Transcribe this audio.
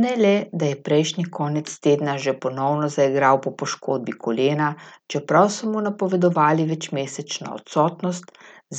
Ne le, da je prejšnji konec tedna že ponovno zaigral po poškodbi kolena, čeprav so mu napovedovali večmesečno odsotnost,